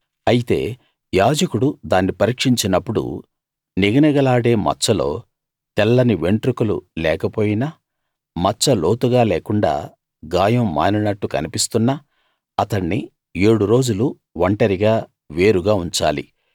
అయితే యాజకుడు దాన్ని పరీక్షించినప్పుడు నిగనిగలాడే మచ్చలో తెల్లని వెంట్రుకలు లేకపోయినా మచ్చ లోతుగా లేకుండా గాయం మానినట్టు కన్పిస్తున్నా అతణ్ణి ఏడు రోజులు ఒంటరిగా వేరుగా ఉంచాలి